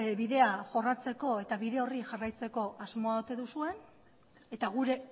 bidea jorratzeko eta bide horri jarraitzeko asmoa ote duzuen eta gure